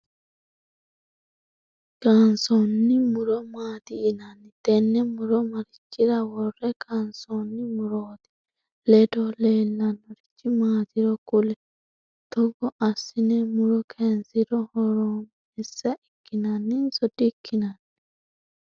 Kaansoonni muro maati yinnanni? Tenne muro marichira wore kaansoonni? Murote ledo leelanorichi maatiro kuli? Tog asine muro kayinsiro horaameessa ikkinnanninso dikinanni?